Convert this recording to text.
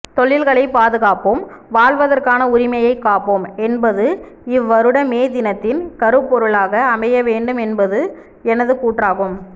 தொழில்களை பாதுகாப்போம் வாழ்வதற்கான உரிமையை காப்போம் என்பது இவ்வருட மே தினத்தின் கருப்பொருளாக அமையவேண்டும் என்பது எனது கூற்றாகும்